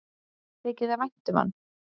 Þykir þér vænt um hann?